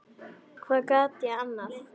Hvað gat ég annað?